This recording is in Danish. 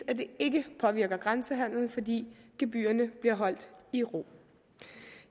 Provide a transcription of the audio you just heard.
at det ikke påvirker grænsehandelen fordi gebyrerne bliver holdt i ro